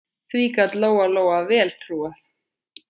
Því gat Lóa-Lóa vel trúað.